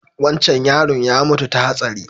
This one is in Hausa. Wancan yaron ya mutu ta hatsari